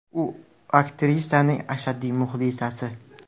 U aktrisaning ashaddiy muxlisasi.